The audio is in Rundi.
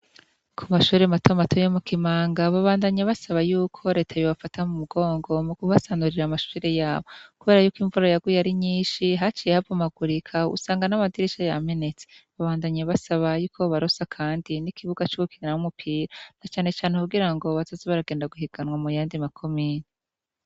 Ku mashure mato mato yo mu Kimanga babandanya basaba yuko leta be bafata mu mugongo mu kubasanurira amashure yabo kubera yuko imvura yaguye ari nyinshi haciye habomagurika usanga n'amadirisha yamenetse babandanya basaba yuko bobarosa kandi n'ikibuga c'ugukiniramwo umupira na cane cane kugira ngo bataze baragenda guhiganwa mu yandi makomine.